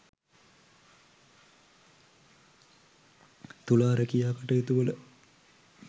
තුලා රැකියා කටයුතුවල